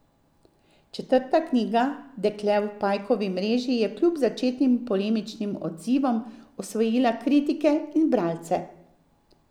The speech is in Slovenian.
Četrta knjiga Dekle v pajkovi mreži je kljub začetnim polemičnim odzivom osvojila kritike in bralce.